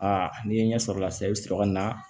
Aa n'i ye ɲɛ sɔrɔ o la sisan i bi sɔrɔ ka na